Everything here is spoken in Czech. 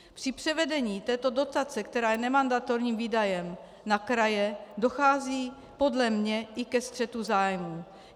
Při převedení této dotace, která je nemandatorním výdajem, na kraje, dochází podle mě i ke střetu zájmů.